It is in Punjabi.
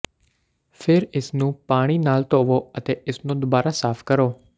ਫਿਰ ਇਸਨੂੰ ਪਾਣੀ ਨਾਲ ਧੋਵੋ ਅਤੇ ਇਸਨੂੰ ਦੁਬਾਰਾ ਸਾਫ਼ ਕਰੋ